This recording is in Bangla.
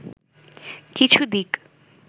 কিছু দিক